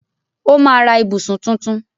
Ó máa ra ìbùsùn tuntun.